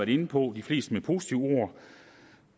inde på de fleste med positive ord